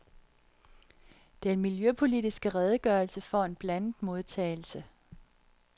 Den miljøpolitiske redegørelse får en blandet modtagelse.